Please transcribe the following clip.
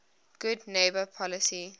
good neighbor policy